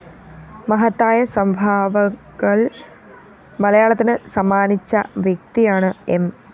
മഹത്തായ സംഭാവകള്‍ മലയാളത്തിന്‌ സമ്മാനിച്ച വ്യക്തിയാണ്‌ എം